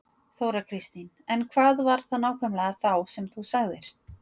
Þóra Kristín: En hvað var það nákvæmlega þá sem þú sagðir?